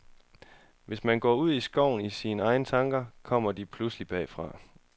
Hvis man går ude i skoven i sine egne tanker, kommer de pludselig bagfra.